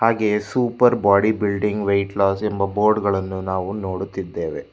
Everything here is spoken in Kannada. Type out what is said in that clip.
ಹಾಗೆಯೇ super body building weight loss ಎಂಬ ಬೋರ್ಡ್ ಗಳನ್ನು ನಾವು ನೋಡುತ್ತಿದ್ದೇವೆ.